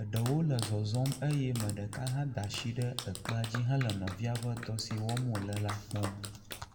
eɖewo le zɔzɔm eye ame ɖeka hã da asi ɖe ekpea dzi hele nɔvia ƒe dɔ si wɔm wole la kpɔm.